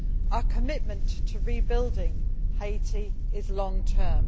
Our commitment to rebuilding Haiti is long term.